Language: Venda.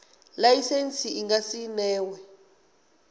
laisentsi i nga si newe